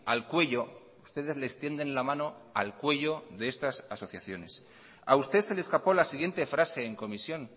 al cuello ustedes les tienden la mano al cuello de estas asociaciones a usted se le escapó la siguiente frase en comisión